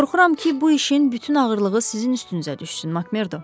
Qorxuram ki, bu işin bütün ağırlığı sizin üstünüzə düşsün Makmerdo.